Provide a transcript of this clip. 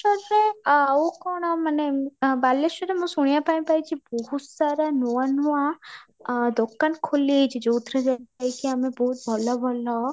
ଅବଶ୍ୟ ଆଉ କ'ଣ ମାନେ ବାଲେଶ୍ୱରରେ ମୁଁ ଶୁଣିବାବା ପାଇଁ ପାଇଛି ବହୁତ ସାରା ନୂଆ ନୂଆ ଆଁ ଦୋକାନ ଖୋଲି ହେଇଛି ଯଉଥିରେ ଯାଇକି ଆମେ ବହୁତ ଭଲ ଭଲ